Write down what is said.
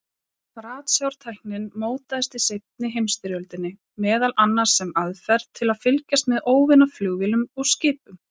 Ratsjártæknin mótaðist í seinni heimsstyrjöldinni, meðal annars sem aðferð til að fylgjast með óvinaflugvélum og-skipum.